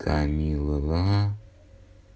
камилла